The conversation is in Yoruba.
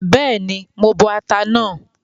Bẹ́ẹ̀ni, mo máa bọ ata náà